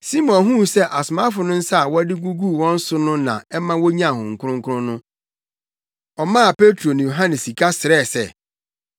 Simon huu sɛ asomafo no nsa a wɔde guguu wɔn so no na ɛma wonyaa Honhom Kronkron no, ɔmaa Petro ne Yohane sika srɛɛ sɛ,